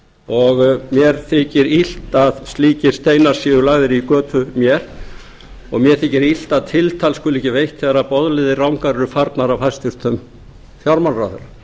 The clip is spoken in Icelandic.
og mér þykir illt að slíkir steinar séu lagðir í götu mína og mér þykir illt að tiltal skuli ekki veitt þegar boðleiðir rangar eru farnar af hæstvirtum fjármálaráðherra